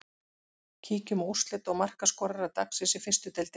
Kíkjum á úrslit og markaskorara dagsins í fyrstu deildinni.